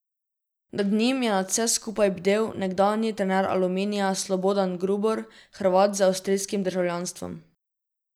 Nad njim je nad vsem skupaj bdel nekdanji trener Aluminija Slobodan Grubor, Hrvat z avstrijskim državljanstvom.